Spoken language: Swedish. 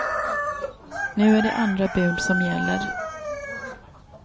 Nu är det andra bud som gäller.